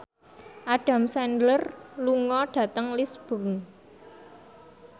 Adam Sandler lunga dhateng Lisburn